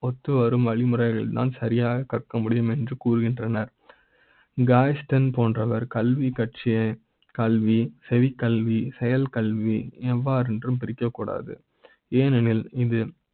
ஒத்து வரும் வழிமுறைகள் தான் சரியாக கற்க முடியும் என்று கூறுகின்றனர் இங்கு Angston போன்றவர் கல்வி கட்சியை கல்வி செவி, கல்வி செயல் கல்வி எவ்வாறு பிரிக்க கூடாது ஏனெ னில் இந்த